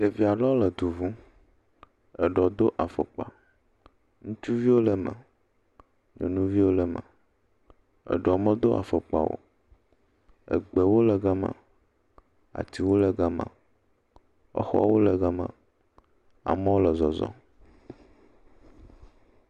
Ɖevi aɖewo le du ŋu, eɖeɔ do afɔkpa, ŋutsuviwo le me, nyɔnuviwo le me, eɖeɔ medo afɔkpa o, egbewo le gama, atiwo le gama, exɔwo le gama, amewo le zɔzɔm.